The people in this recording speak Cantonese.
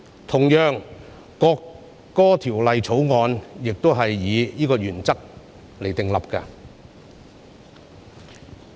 同樣地，《條例草案》也是按此原則訂立。